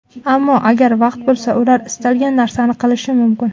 Ammo agar vaqt bo‘lsa, ular istalgan narsani qilishi mumkin.